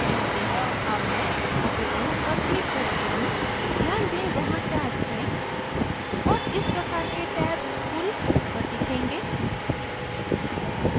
अब मैं appearance पर click करती हूँ ध्यान दें वहाँ tabs हैं और इस प्रकार के tabs पूरी site पर दिखेंगे